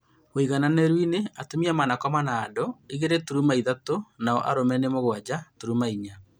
Ũigananĩru inĩ atumia manakoma na andu igĩrĩ turuma ithatũ nao arume nĩ mũgwanja turuma inya